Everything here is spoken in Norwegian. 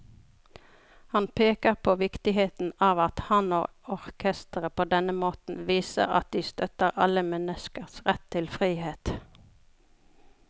Han peker på viktigheten av at han og orkesteret på denne måten viser at de støtter alle menneskers rett til frihet.